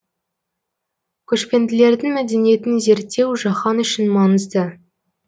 көшпенділердің мәдениетін зерттеу жаһан үшін маңызды